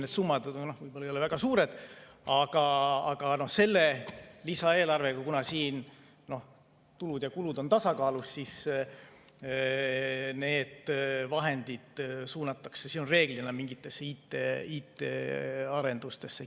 Need summad ei ole väga suured, aga selle lisaeelarvega, kuna siin tulud ja kulud on tasakaalus, need vahendid suunatakse reeglina mingitesse IT-arendustesse.